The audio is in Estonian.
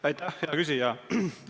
Aitäh, hea küsija!